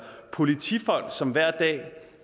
politifolk som hver dag